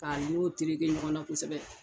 K'a tereke ɲɔgɔnna kosɛbɛ.